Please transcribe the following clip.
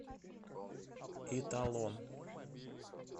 италон